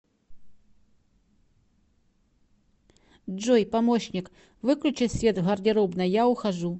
джой помощник выключи свет в гардеробной я ухожу